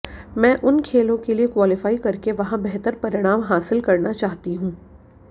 मैं उन खेलों के लिये क्वालीफाई करके वहां बेहतर परिणाम हासिल करना चाहती हूं